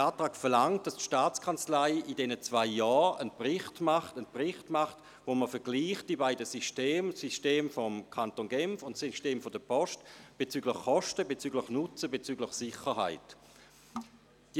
Der Antrag verlangt, dass die STA in diesen zwei Jahren einen Bericht verfasst, in dem man die beiden Systeme – das System des Kantons Genf und das System der Post – bezüglich Nutzen, Kosten und Sicherheit überprüft.